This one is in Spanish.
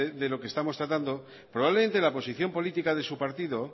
de lo que estamos tratando probablemente la posición política de su partido